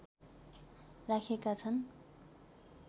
राखेका छन्